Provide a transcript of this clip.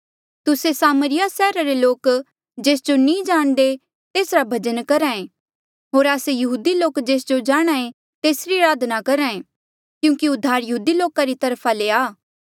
तुस्से सामरिया सैहरा रे लोक जेस जो नी जाणदे तेसरा भजन करहा ऐें होर आस्से यहूदी लोक जेस जो जाणहां ऐें तेसरी अराधना करहा ऐें क्यूंकि उद्धार यहूदी लोका री तरफा ले आ